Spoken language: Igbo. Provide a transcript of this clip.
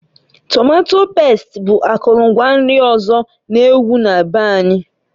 Tomato past bụ akụlụ ngwa nri ọzọ n'ewu na be anyị.